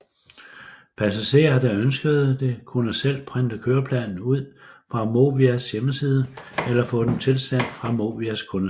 Passagerer der ønskede det kunne selv printe køreplaner ud fra Movias hjemmeside eller få dem tilsendt fra Movias kundecenter